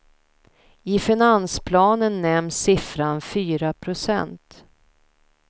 I finansplanen nämns siffran fyra procent.